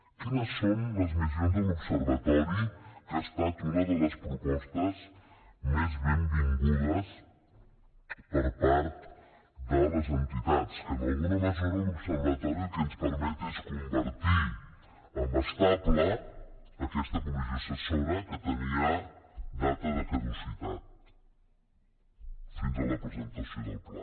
quines són les missions de l’observatori que ha estat una de les propostes més benvingudes per part de les entitats que en alguna mesura l’observatori el que ens permet és convertir en estable aquesta comissió assessora que tenia data de caducitat fins a la presentació del pla